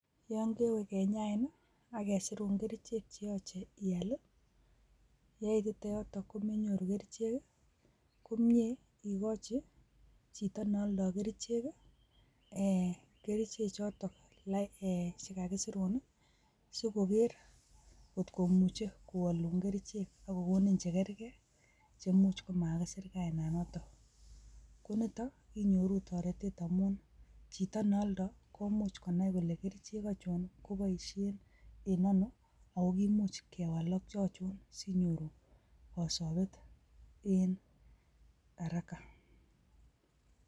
Yon kewee kinyait ak kesirun kerichek cheyoche ial yeitite yoton komenyoruu kerichek komie ikochi chito neoldo kerichek, kerichek choto chekakisirun nii sikoker kot komuche kowolun kerichek ak kokonin chekerke che imuch komakisir kaina noton, ko niton inyoruu toreten amun chito ne oldoo ko much konai kole keriche ochon koboishe en ono ako kimuch kewal ak ochon sinyoru kosobe en haraka.